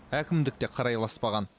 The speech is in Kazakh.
әкімдік те қарайласпаған